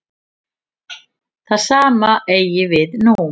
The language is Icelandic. Það sama eigi við nú.